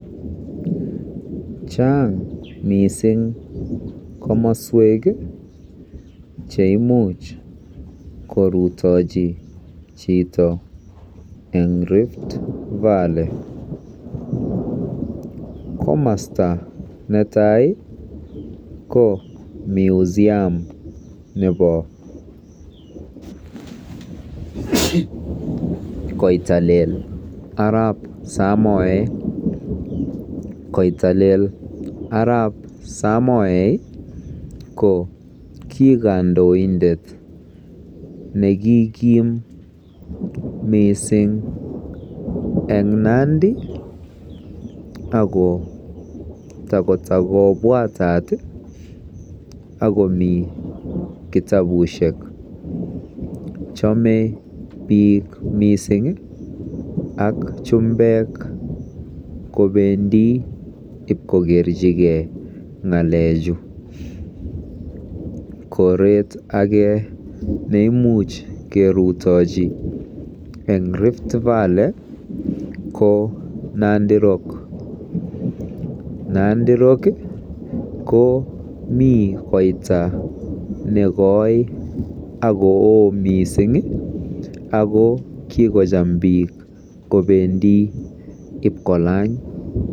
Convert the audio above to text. Chaang mising komaswek cheimuch korutochi chito eng Rift Valley. Komasta netai ko Museum nebo Koitalel arap Samoeei. Koitalel arap Samoei ko ki kandoindet nekikim mising eng Nandi ako takotakobwatat ako takomi kitapusiek. Chamei mising biik ak chumbek kopendi ipkokerchigei ng'alechu. Koret age nemuch kerutochi eng Rift Valley ko Nandi Rock. Nandi Rock komi koita nekoi akooo miising akokikocham biik kobendi ipkokerchigei.